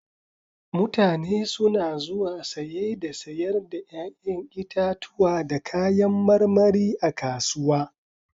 Mutane suna zuwa saye da sayar da 'ya'yan itatuwa da kayan marmari a kasuwa.